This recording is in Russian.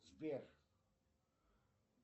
сбер